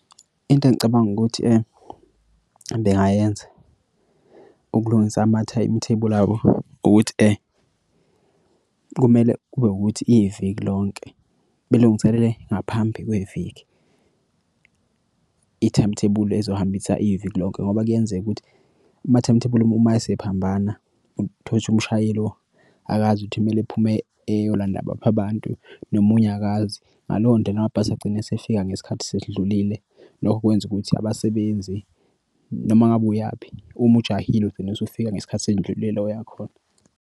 Into engicabanga ukuthi bengayenza ukulungisa amathayimithebuli abo ukuthi aye kumele kube ukuthi iviki lonke belungiselele ngaphambi kweviki i-timetable ezohambisa iviki lonke ngoba kuyenzeka ukuthi ama-timetable uma esiphambana utholukuthi umshayeli lo akazi ukuthi kumele ephume eyolanda baphi abantu noma unyakaze ngaleyo ndlela amabhasi agcine esefika ngesikhathi sesidlulile. Lokho kwenza ukuthi abasebenzi noma ngabe uyaphi uma ujahile ugcina usufika ngesikhathi seyindlulile la oyakhona.